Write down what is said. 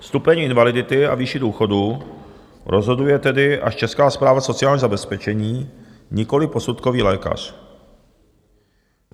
Stupeň invalidity a výši důchodu rozhoduje tedy až Česká správa sociálního zabezpečení, nikoliv posudkový lékař.